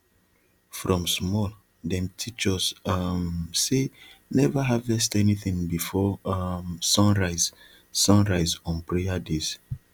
from small dem teach us um say never harvest anything before um sun rise sun rise on prayer days